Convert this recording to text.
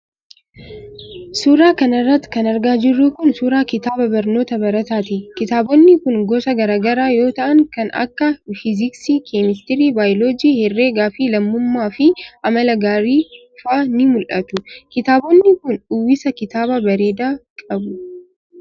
Suura kana irratti kan argaa jirru kun, suura kitaaba barnootaa barataati. Kitaabonni kun gosa garaa garaa yoo ta'an kan akka fiiziksii, kemistirii, baayoloojii, herreega fi lammummaa fi amala gaarii faa ni mul'atu. kitaabonni kun uwwisa kitaabaa bareedaa qabu.